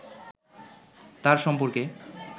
তার সম্পর্কে